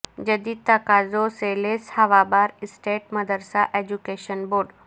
جدید تقاضوں سے لیس ہوا بہار اسٹیٹ مدرسہ ایجوکیشن بورڈ